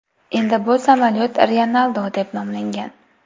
Endi bu samolyot Ryanaldo deb nomlangan.